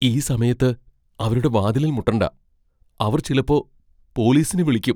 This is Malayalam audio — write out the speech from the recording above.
ഈ സമയത്ത് അവരുടെ വാതിലിൽ മുട്ടണ്ട. അവർ ചിലപ്പോ പോലീസിനെ വിളിയ്ക്കും .